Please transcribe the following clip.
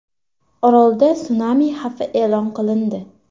Orolda sunami xavfi e’lon qilindi.